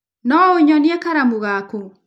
No ũnyonie karamu gaku?